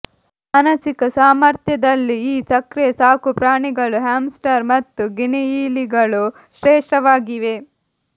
ಮಾನಸಿಕ ಸಾಮರ್ಥ್ಯದಲ್ಲಿ ಈ ಸಕ್ರಿಯ ಸಾಕುಪ್ರಾಣಿಗಳು ಹ್ಯಾಮ್ಸ್ಟರ್ ಮತ್ತು ಗಿನಿಯಿಲಿಗಳು ಶ್ರೇಷ್ಠವಾಗಿವೆ